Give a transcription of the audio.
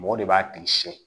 Mɔgɔ de b'a tigi siyɛn